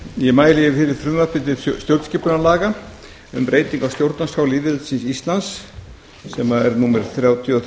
ég mæli fyrir frumvarpi til stjórnskipunarlaga um breytingu á stjórnarskrá lýðveldisins íslands sem er númer þrjátíu og þrjú